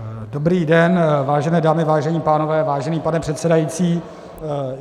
Dobrý den, vážené dámy, vážení pánové, vážený pane předsedající.